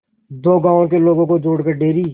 दो गांवों के लोगों को जोड़कर डेयरी